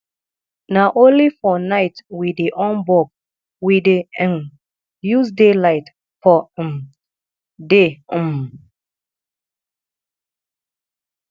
na only for night we dey on bulb we dey um use daylight for um day um